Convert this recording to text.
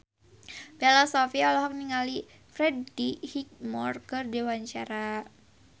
Bella Shofie olohok ningali Freddie Highmore keur diwawancara